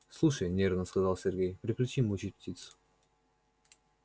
слушай нервно сказал сергей прекрати мучить птиц